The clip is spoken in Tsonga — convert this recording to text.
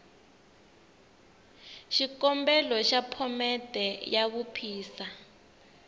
xikombelo xa phomete ya vuphisa